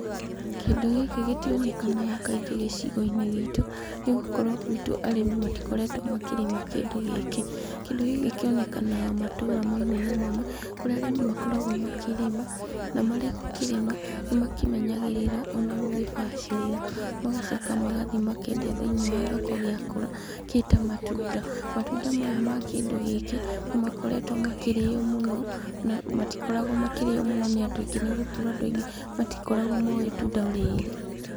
Kĩndũ gĩkĩ gĩtionekanaga kaingĩ gĩcigo-inĩ gĩtũ, nĩ gukorwo guitũ arĩmi matikoretwo makĩrĩma kĩndũ gĩkĩ. Kĩndũ hĩndĩ kĩonekanaga matũra mamwe na mamwe, kũrĩa arĩmi makoragwo makĩrĩma, na marĩ gũkĩrĩma, nĩmakĩmenyagĩrĩra ona gũgĩbacĩrĩra , magacoka magathiĩ makendia thĩiniĩ wa thoko gĩakũra, gĩ ta matunda. Matunda maya ma kĩndũ gĩkĩ, nĩmakoretwo makĩrio mũno, na matikoragwo makĩrio mũno nĩ andũ aingĩ nĩ gukorwo andũ aingĩ matikoragwo moĩ itunda rĩrĩ.